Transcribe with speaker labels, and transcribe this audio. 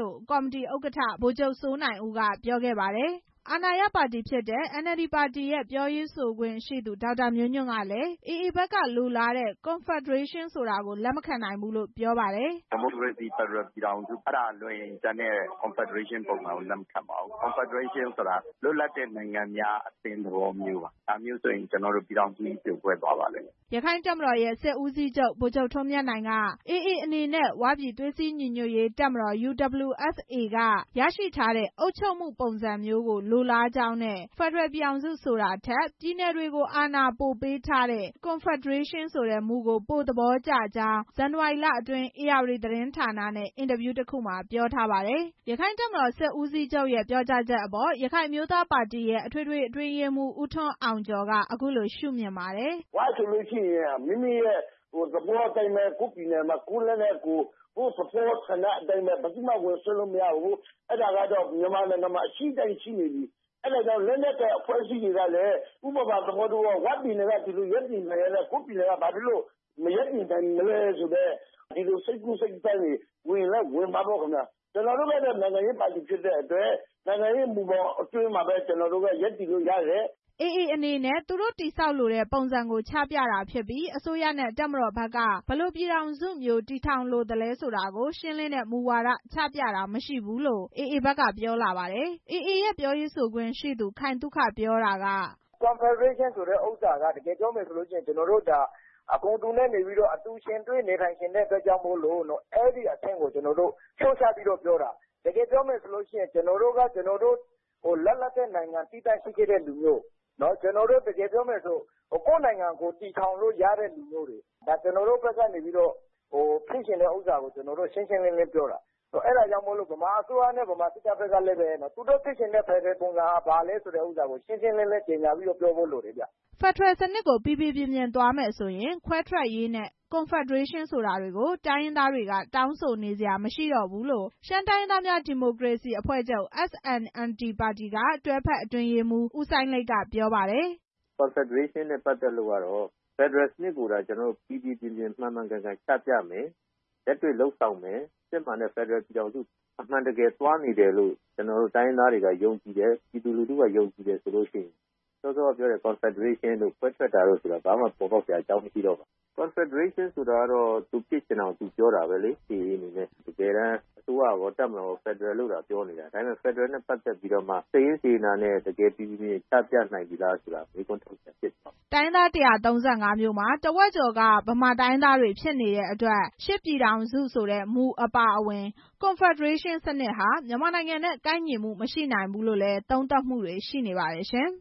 Speaker 1: လို့ ကော်မတီ ဥက္ကဋ္ဌ ဗိုလ်ချုပ် စိုးနိုင်ဦး က ပြော ပါတယ်။ အာဏာရပါတီဖြစ်တဲ့ NLD ပါတီရဲ့ ပြောရေးဆိုခွင့်ရှိသူ ဒေါက်တာ မျိုးညွန့်ကလည်း AA ဘက်က လိုလားတဲ့ Confederation ဆိုတာကို လက်မခံဘူးလို့ ပြောပါတယ်။
Speaker 2: "ဒီမိုကရေစီ ဖက်ဒရယ်ပြည်ထောင်စုကလွဲရင် ကျန်တဲ့ ကွန်ဖက်ဒရေးရှင်းပုံစံမျိုးကို လက်မခံနိုင်ပါဘူး။ ကွန်ဖက်ဒရေးရှင်းဆိုတာ လွတ်လပ်တဲ့ နိုင်ငံများအသင်းသဘောမျိုးပါ။ ဒါမျိုးဆို ကျနေ်ာတို့ ပြည်ထောင် စုကြီး ပြိုကွဲသွားလိမ့်မယ်
Speaker 1: " ရက္ခိုင့်တပ်မတော်ရဲ့ စစ်ဦးစီးချုပ် ဗိုလ်ချုပ် ထွန်းမြတ်နိုင်က AA အနေနဲ့ ဝပြည်သွေး စည်း ညီညွတ်ရေးတပ်မတော် UWSA က ရရှိထားတဲ့ အုပ်ချုပ်မှုပုံစံမျိုးကို လိုလားကြောင်းနဲ့ ဖက်ဒရယ်ပြည်ထောင်စု ဆိုထာထက် ပြည်နယ်တွေကို အာဏာပိုပေးထားတဲ့ Confederation မူကို ပိုသဘောကျကြောင်း ဇန်နဝါရီ လအတွင်း ဧရာဝတီသတင်းဌာနနဲ့ အင်တာဗျူး တစ်ခုမှာ ပြောထား ပါတယ်။ ရက္ခိုင့်တပ်မတော်စစ်ဦးစီးချုပ်ရဲ့ ပြောကြားချက်အပေါ် ရခိုင်အမျိုးသားပါတီရဲ့ အထွေထွေအတွင်းရေးမှူး ဦးထွန်းအောင်ကျော်က အခုလို ရှုမြင်ပါတယ်။
Speaker 2: "ဝဆိုလို့ရှိရင် မိမိပြည်နယ်မှာ မိမိသဘောအတိုင်းပဲ။ ကိုယ့်ပြည်နယ်မှာ ကိုယ်လက်နက်နဲ့ ကိုယ်၊ ကိုယ်ပြည်နယ်ကို ဘယ်သူမှ ဝင်စွက်ဖက်လို့မရဘူး။ အဲ့ဒါက မြန်မာနိုင်ငံမှာ ရှိနေပြီ။ အဲဒါကြောင့် လက်နက်ကိုင်အဖွဲ့အစည်းတွေကလည်း ဝပြည်နယ်တောင် အဲလိုရပ်တည်နိုင်ရင် ကိုယ့်ပြည်နယ်မှာ ဘာလို့ မရပ်တည်နိုင်ရမလဲဆိုတဲ့ စိတ်ကူးစိတ်သန်းတွေလည်း ဝင်ချင်ဝင်မှာပေါ့။ ကျနော်တို့က နိုင်ငံရေး ပါတီဖြစ်တဲ့အတွက် နိုင်ငံရေးမူဘောင်အတွင်းမှာပဲ ရပ်တည်လို့ရတယ်
Speaker 1: " AA အနေနဲ့ သူတို့ တည်ဆောက်လိုတဲ့ ပုံစံကို ချပြတာဖြစ်ပြီး အစိုးရနဲ့ တပ်မတော်ဘက်က ဘယ်လို ပြည်ထောင်စုမျိုးတည်ထောင်လိုပါတယ်ဆိုတဲ့ ရှင်းလင်းတဲ့ မူဝါဒကို ချပြတာမရှိဘူးလို့ AA ဘက်က ပြောလာပါတယ်။ AA ရဲ့ ပြောရေးဆိုခွင့်ရှိသူ ခိုင်သုခ ပြောတာက "
Speaker 2: ကွန်ဖက်ဒရေးရှင်းဆိုတာက တကယ်ပြောမယ်ဆိုရင် ကျနော်တို့ အကုန် အတူတူယှဉ်တွဲနေထိုင် ချင်တာမို့ အဲ့ဒီအဆင့်ကို လျော့ချပြီး ပြောတာ။ တကယ်ပြောမယ်ဆိုရင် ကျနော်တို့က လွတ်လပ်တဲ့ နိုင်ငံရှိခဲ့တဲ့လူမျိုး ကျနော်တို့ ကိုယ့်နိုင်ကို တည်ထောင်လို့ရတဲ့လူမျိုး ကျနော်တို့ဘက်က ကျနော်တို့ ဖြစ်ချင်တာကို ရှင်းရှင်းလင်းလင်းပြောတာ။ အဲ့ဒါကြောင့် ဗမာစစ်တပ်နဲ့ ဗမာအစိုးရဘက်ကလည်း သူတို့ ဖြစ်ချင်တဲ့ ဖက်ဒရယ်စနစ်ပုံစံက ဘာလဲဆိုတာ ရှင်းရှင်းလင်းလင်း ပြောဖို့လိုတယ်ဗျ"
Speaker 1: ဖက်ဒရယ်စနစ်ကို ပီပီပြင်ပြင် သွားနေမယ်ဆိုရင် ခွဲထွက်ရေးနဲ့ Confederation ဆိုတာတွေ တိုင်းရင်း သားတွေက တောင်းဆိုနေစရာမရှိတော့ဘူးလို့ ရှမ်းတိုင်းရင်းသားများ ဒီမိုကရေစီအဖွဲ့ချုပ် တွဲဖက် အတွင်းရေးမှူး ဦးစိုင်းလိတ် ကပြောပါတယ်။
Speaker 2: "ဖက်ဒရယ်စနစ်ကိုသာ ကျနော်တို့ ပီပီပြင်ပြင် မှန်မှန်ချပြမယ်။ လက်တွေ့လုပ်ဆောင်မယ်။ စစ်မှန်တဲ့ ဖက်ဒရယ်ပြည်ထောင်စု အမှန်တကယ်သွားနေတယ်လို့ ကျနော်တို့ တိုင်းရင်းသားတွေက ယုံကြည်တယ် ပြည်သူလူထုက ယုံကြည်တယ်ဆိုရင် ကွန်ဖက်ဒရေးရှင်းတို့ ခွဲထွက်ရေးတို့ဆိုတာ ဘာမှပေါ်ပေါက်စရာ အကြောင်းမရှိဘူး။ ကွန်ဖက်ဒရေးရှင်းဆိုတာ သူဖြစ်ချင်တာကို သူပြောတာလေ AA အနေနဲ့။ တကယ်တမ်း အစိုးရကော တပ်မတော်ကော ဖက်ဒရယ်လို့သာ ပြောနေတာ။ ဒါမဲ့ ဖက်ဒရယ်နဲ့ ပတ်သက်ပြီး စိတ်ရင်းစေတနာနဲ့ တကယ် ပီပီပြင်ပြင်ချပြနိုင်ပြီလားဆိုတာ မေးခွန်းထုတ်စရာဖြစ်နေတယ်
Speaker 1: " တိုင်းရင်းသား ၁၃၅ မျိုးမှာ ထက်ဝက်ကျော်က ဗမာတိုင်းရင်းသားတွေ ဖြစ်နေတဲ့အတွက် ၈ ပြည်ထောင်စု ဆိုတဲ့ မူအပါအဝင် Confederation စနစ်ဟာ မြန်မာနိုင်ငံနဲ့ ကိုက်ညီမှုမရှိနိုင်ဘူးလို့လည်း သုံးသပ်မှုတွေ ရှိနေပါတယ်ရှင်